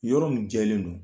Yɔrɔ min jɛlen don